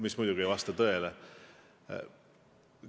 Mis muidugi ei vasta tõele.